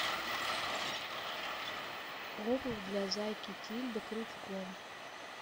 обувь для зайки тильды крючком